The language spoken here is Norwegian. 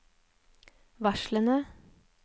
varslene